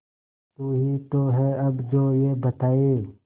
तू ही तो है अब जो ये बताए